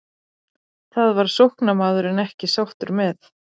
Það var sóknarmaðurinn ekki sáttur með.